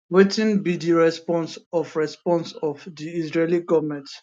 wetin be di response of response of di israeli goment